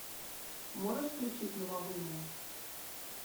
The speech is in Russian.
можешь включить новолуние